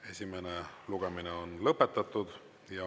Esimene lugemine on lõpetatud.